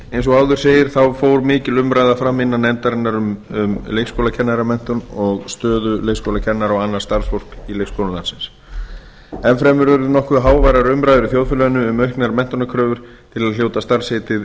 eins og áður segir fór mikil umræða fram innan nefndarinnar um leikskólakennaramenntun og stöðu leikskólakennara og annars starfsfólks í leikskólum landsins enn fremur urðu nokkuð háværar umræður í þjóðfélaginu um auknar menntunarkröfur til að hljóta starfsheitið leikskólakennari